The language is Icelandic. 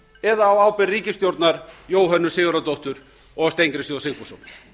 eða á ábyrgð ríkisstjórnar jóhönnu sigurðardóttur og steingríms j sigfússonar